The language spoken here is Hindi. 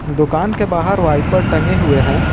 दुकान के बाहर वाइपर टंगे हुए हैं।